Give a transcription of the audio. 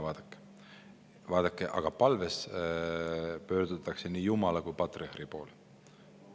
Jaa, vaadake, aga palves pöördutakse nii Jumala kui ka patriarhi poole.